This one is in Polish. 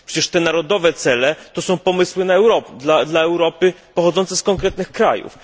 Przecież te narodowe cele to są pomysły dla Europy pochodzące z konkretnych krajów.